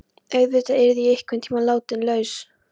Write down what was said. Auðvitað yrði ég einhverntíma látin laus.